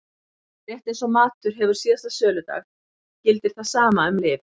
Rétt eins og matur hefur síðasta söludag gildir það sama um lyf.